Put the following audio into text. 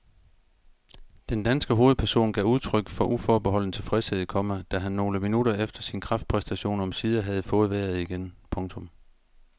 Den danske hovedperson gav udtryk for uforbeholden tilfredshed, komma da han nogle minutter efter sin kraftpræstation omsider havde fået vejret igen. punktum